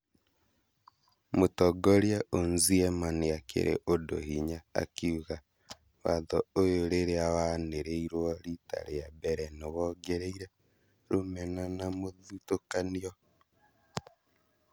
Mũtongoria Onziema nĩakĩrĩ ũndũ hinya akiuga "watho ũyũ rĩrĩa wanĩrĩirwo rita rĩa mbere, nĩwongereire rũmena na mũthutũkanio"